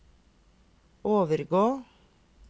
overgå